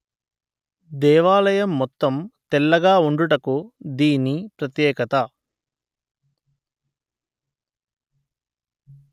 దేవాలయము మొత్తం తెల్లగా ఉండుటకు దీని ప్రత్యేకత